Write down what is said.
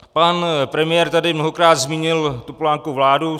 Pan premiér tady mnohokrát zmínil Topolánkovu vládu.